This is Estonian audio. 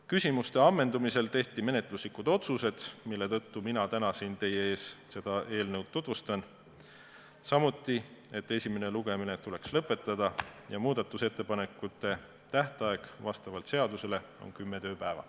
Küsimuste ammendumisel tehti menetluslikud otsused, mille tõttu mina täna siin teie ees seda eelnõu tutvustan, samuti otsustati, et esimene lugemine tuleks lõpetada ja muudatusettepanekute esitamise tähtaeg vastavalt seadusele on kümme tööpäeva.